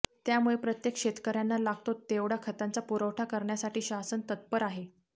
त्यामुळे प्रत्येक शेतकऱ्यांना लागतो तेवढा खतांचा पुरवठा करण्यासाठी शासन तत्पर आहे